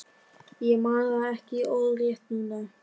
Ég man það ekki orðrétt núna.